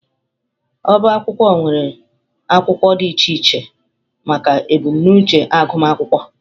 Ọbá akwụkwọ nwere akwụkwọ dị iche iche maka ebumnuche agụmakwụkwọ